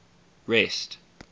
rest